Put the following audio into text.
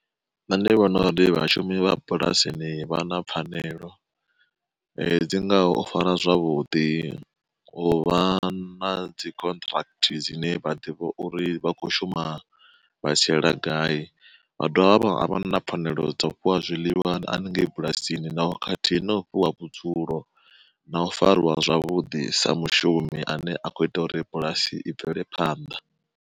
Nṋe ndi vhona ndi vhashumi vha bulasini vha na pfanelo, dzi ngaho u fara zwavhuḓi, u vha na dzi contract dzine vha ḓivha uri vha kho shuma vha tshiela gai, vha dovha vha vha na pfanelo dza u fhiwa zwiḽiwa haningei bulasini na khathihi na ofhiwa vhudzulo, na u fariwa zwavhuḓi sa mushumi ane a khou ita uri bulasi i bvele phanḓa.